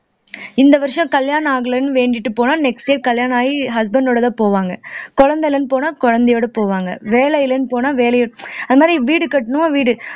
இந்த வருஷம் கல்யாணம் ஆகலைன்னு வேண்டிட்டு போனா next year கல்யாணம் ஆயி husband டோடதான் போவாங்க குழந்தை இல்லைன்னு போனா குழந்தையோட போவாங்க வேலை இல்லைன்னு போனா வேலையை அது மாதிரி வீடு கட்டணுமா வீடு